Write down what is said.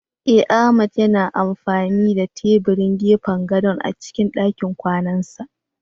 Eh Ahmad yana amfani da tebirin gefen gadon a cikin dakin kwanansa